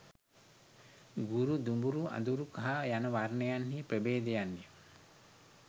ගුරු, දුඹුරු, අඳුරු කහ යන වර්ණයන්හි ප්‍රභේදයන් ය.